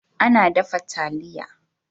Ana dafa taliya.